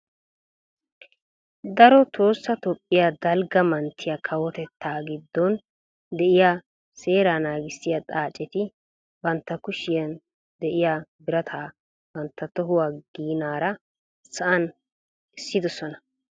Daro tohossa toophphiyaa dalgga manttiyaa kawotettaa giddon de'iyaa seeraa nanggissiyaa xaaccetti bantta kushshiyaa de'iyaa birataa bantta tohuwaa ginaara sa'an essidoosona.